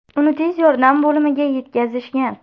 Uni tez yordam bo‘limiga yetkazishgan.